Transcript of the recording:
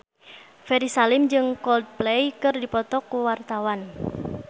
Ferry Salim jeung Coldplay keur dipoto ku wartawan